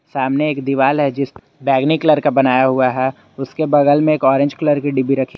सामने एक दीवाल है जिस बैगनी कलर का बनाया हुआ है उसके बगल में एक ऑरेंज कलर की डिब्बी रखी--